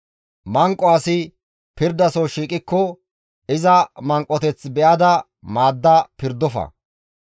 Manqo asi pirdaso shiiqikko iza manqoteth be7ada maadda pirdofa.